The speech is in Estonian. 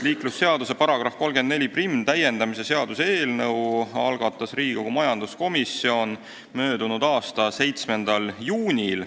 Liiklusseaduse § 341 täiendamise seaduse eelnõu algatas Riigikogu majanduskomisjon möödunud aasta 7. juunil.